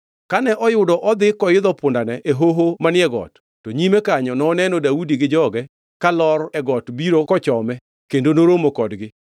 Kane oyudo odhi koidho pundane e hoho manie got, to nyime kanyo noneno Daudi gi joge kalor e got biro kochome kendo noromo kodgi.